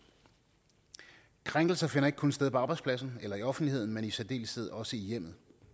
krænkelser finder ikke kun sted på arbejdspladsen eller i offentligheden men i særdeleshed også i hjemmet